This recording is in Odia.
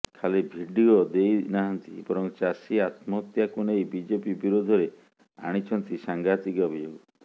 ଖାଲି ଭିଡିଓ ଦେଇନାହାନ୍ତି ବରଂ ଚାଷୀ ଆତ୍ମହତ୍ୟାକୁ ନେଇ ବିଜେପି ବିରୋଧରେ ଆଣିଛନ୍ତି ସାଙ୍ଘାତିକ ଅଭିଯୋଗ